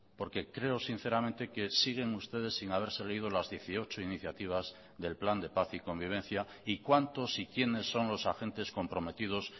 porque creo sinceramente que siguen ustedes sin haberse leído las dieciocho iniciativas del plan de paz y convivencia y cuántos y quiénes son los agentes comprometidos